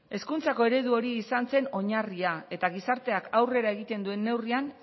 hezkuntzako eredu hori izan zen oinarria eta gizarteak aurrera egiten duen neurrian